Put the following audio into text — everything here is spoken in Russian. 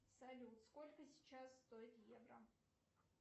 салют сколько сейчас стоит евро